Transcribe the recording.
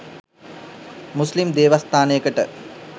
මුස්ලිම් දේවස්ථානයකට